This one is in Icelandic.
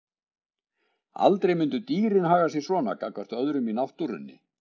Aldrei myndu dýrin haga sér svona gagnvart öðrum í náttúrunni.